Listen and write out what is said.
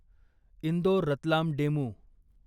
Indore Ratlam DEMU